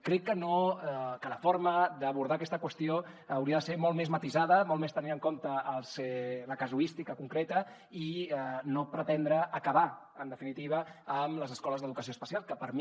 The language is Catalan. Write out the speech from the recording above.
crec que la forma d’abordar aquesta qüestió hauria de ser molt més matisada molt més tenint en compte la casuística concreta i no pretendre acabar en definitiva amb les escoles d’educació especial que per mi